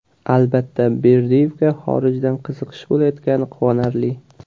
Albatta, Berdiyevga xorijdan qiziqish bo‘layotgani quvonarli.